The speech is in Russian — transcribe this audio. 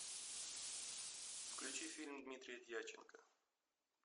включи фильм дмитрия дьяченко